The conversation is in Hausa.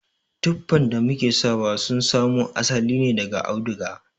Tuffan da muke sawa sun samo asali ne daga auduga.